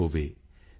ਹੋਵੇ ਸੀ